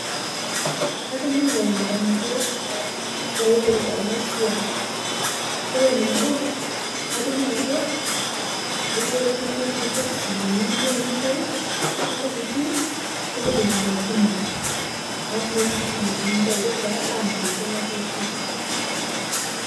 Katining'o lmarenge loipirita ana siai, kore nabo, katining'o ajo ilotu nipik silinkini niyeu nitai, nipik pin [Cs, nipik lkumojino alafu nepuku silinkini nitai keji taa bank etii ana toki.